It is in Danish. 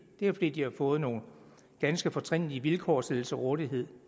men fordi de har fået nogle ganske fortrinlige vilkår stillet til rådighed